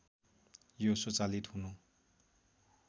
यो स्वचालित हुनु